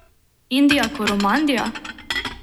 Indija Koromandija?